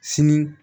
Sini